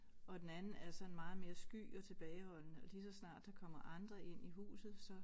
Og den anden er sådan meget mere sky og tilbageholdende og lige så snart der kommer andre ind i huset så